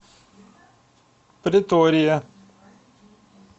претория